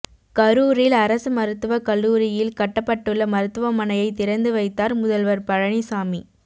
கரூரில் அரசு மருத்துவக் கல்லூரியில் கட்டப்பட்டுள்ள மருத்துமனையை திறந்து வைத்தார் முதல்வர் பழனிசாமி